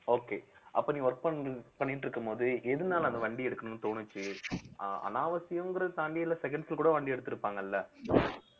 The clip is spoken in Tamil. okay அப்ப நீ work பண்~ பண்ணிட்டு இருக்கும்போது எதனால அந்த வண்டிய எடுக்கணும்னு தோணுச்சு அனாவசியங்கறத தாண்டி இல்ல seconds ல கூட வண்டி எடுத்திருப்பாங்கல்ல